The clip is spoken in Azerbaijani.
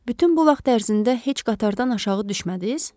Bütün bu vaxt ərzində heç qatardan aşağı düşmədiniz?